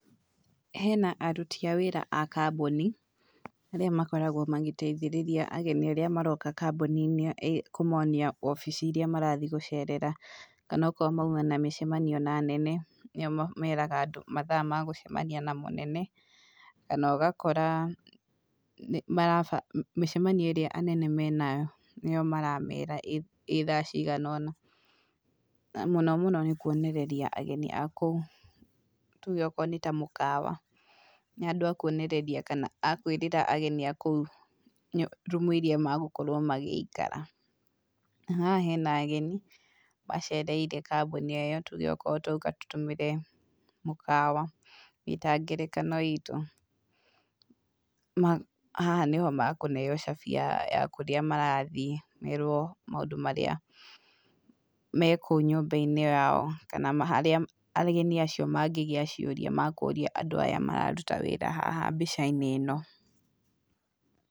Hena aruti a wĩra a kambuni, arĩa makoragwo magĩteithĩrĩria ageni arĩa maroka kambuni-inĩ kũmonia obici iria marathiĩ gũcerera, kana okorwo mauma na mĩcemanio na anene, nĩo meraga andũ mathaa magũcemania na mũnene, kana ũgakora nĩ mĩcemanio ĩrĩa anene menayo nĩyo maramera ĩ thaa cigana, na mũno mũno nĩ kuonereria ageni a kũu, tuge akorwo nĩ ta mũkawa, nĩ andũ akuonereria kana akwĩrĩra ageni a kũu rumu iria magũkorwo magĩikara. Haha hena ageni macereire tuge kambuni o ĩyo, tuge okorwo twauga tũtũmĩre mũkawa wĩ ta ngerekano itũ, ma haha nĩho makũheo cabi ya kũrĩa marathiĩ, merwo maũndũ marĩa me kũu nyũmba-inĩ yao, kana harĩa ageni acio mangĩgĩa ciũria makũria andũ aya mararuta wĩra haha mbica-inĩ ĩno.